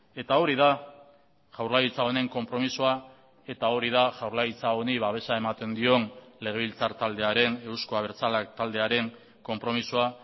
eta hori da jaurlaritza honen konpromisoa eta hori da jaurlaritza honi babesa ematen dion legebiltzar taldearen euzko abertzaleak taldearen konpromisoa